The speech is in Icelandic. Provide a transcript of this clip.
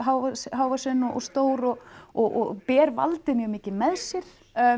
hávaxinn og stór og og ber valdið mjög mikið með sér